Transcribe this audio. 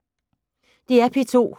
DR P2